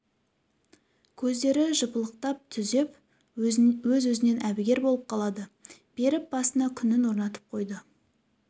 көздері жыпылықтап түзеп өз-өзінен әбігер болып қалады беріп басына күнін орнатып қойды